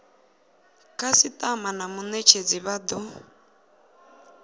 khasitama na munetshedzi vha do